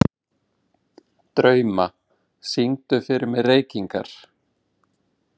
Drauma, syngdu fyrir mig „Reykingar“.